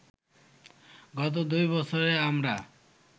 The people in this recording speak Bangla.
গত দুই বছরে আমরা